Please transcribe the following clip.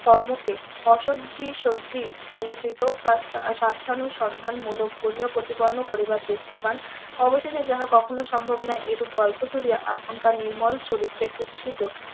কর্মকে অসদ্ধি সদ্ধি প্রযচিত তার সার্থানুসন্ধান মূলক . প্রতিপন্ন করিবার চেষ্টা পান অবশেষে যাহা কখনো সম্ভব না এইরূপ গল্প তুলিয়া আপনকার নির্মল চরিত্রে কুৎসিত